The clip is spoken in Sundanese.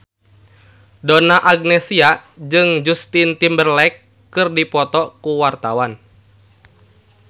Donna Agnesia jeung Justin Timberlake keur dipoto ku wartawan